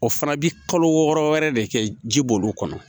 O fana bi kalo wɔɔrɔ wɛrɛ de kɛ ji b'olu kɔnɔ